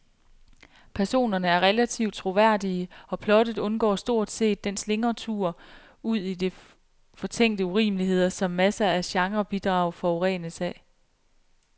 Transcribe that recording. Personerne er relativt troværdige, og plottet undgår stort set den slingretur ud i fortænkte urimeligheder, som masser af genrebidrag forurenes af.